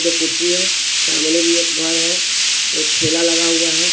दो कुर्सी है सामने भी एक घर है एक ठेला लगा हुआ है।